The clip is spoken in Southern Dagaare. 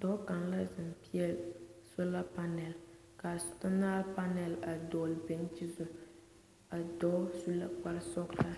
Dɔɔ kaŋ la zeŋ peɛle sola panɛl ka a sola panɛl dogli daŋkyini zu a dɔɔ su la kpare sɔglaa